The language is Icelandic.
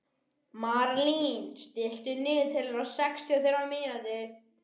Marlín, stilltu niðurteljara á sextíu og þrjár mínútur.